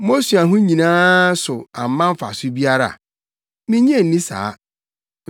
Mo osuahu yi nyinaa so amma mfaso biara? Minnye nni saa.